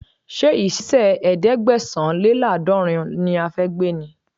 Ṣé ìṣísẹ̀ ẹ̀ẹ́dẹ́gbẹ̀sán-lé-láàdọ́rùn ún ni a fẹ́ gbé ni?